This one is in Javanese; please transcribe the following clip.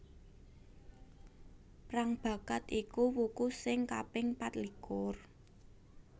Prangbakat iku wuku sing kaping patlikur